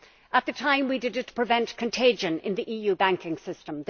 At the time, we did it to prevent contagion in the EU banking system.